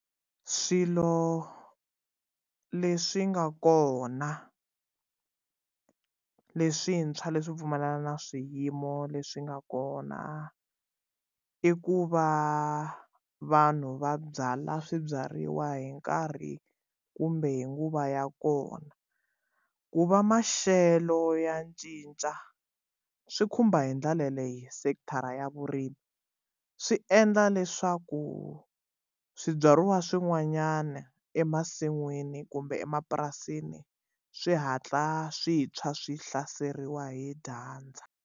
Swilo leswi nga kona leswintshwa leswi pfumala na swiyimo leswi nga kona i ku va vanhu va byala swibyariwa hi nkarhi kumbe hi nguva ya kona ku va maxelo ya cinca swi khumba hi ndlela leyo sekithara ya vurimi swi endla leswaku swibyariwa swin'wanyana emasin'wini kumbe emapurasini swi hatla swi tshwa swi hlaseriwa hi dyandza.